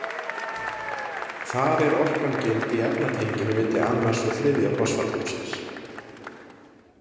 Þar er orkan geymd í efnatenginu milli annars og þriðja fosfathópsins.